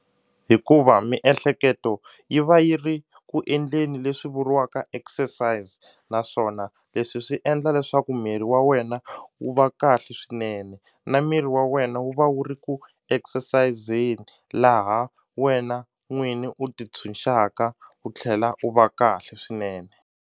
Hikuva miehleketo yi va yi ri ku endleni leswi vuriwaka exercise naswona leswi swi endla leswaku miri wa wena wu va kahle swinene na miri wa wena wu va wu ri ku exercise-ni laha wena n'wini u ti tshunxanga u tlhela u va kahle swinene.